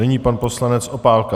Nyní pan poslanec Opálka.